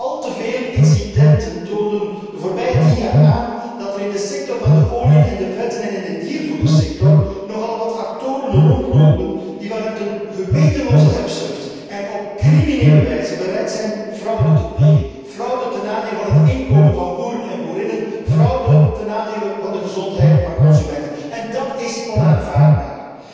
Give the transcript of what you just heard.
Al te veel incidenten toonden de afgelopen tien jaar aan dat er in de sector van de oliën en de vetten in de diervoedersector nogal wat actoren rondlopen die vanuit een gewetenloze hebzucht en op criminele wijze bereid zijn fraude te plegen, fraude ten nadele van het inkomen van boeren en boerinnen, fraude ten nadele van de gezondheid van consumenten. Dat is onaanvaardbaar.